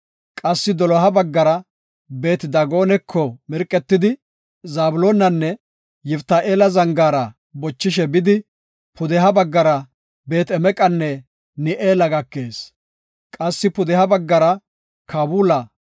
Qassi doloha baggara Beet-Daagonako mirqetidi, Zabloonanne Yiftahi7eela zangaara bochishe bidi, pudeha baggara Beet-Emeqanne Ni7eela gakees. Qassi pudeha baggara Kaabula,